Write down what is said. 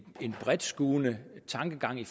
bredtskuende tankegang i